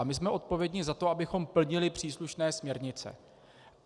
A my jsme odpovědní za to, abychom plnili příslušné směrnice.